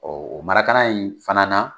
Ɔɔ o marakana in fana na